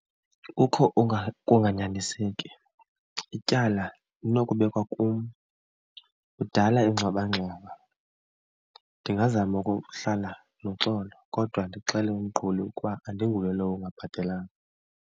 Kukho ukunganyaniseki, ityala linokubekwa kum, kudala ingxwabangxwaba. Ndingazama ukuhlala noxolo kodwa ndixelele umqhubi ukuba andinguye lowo ungabhatelanga.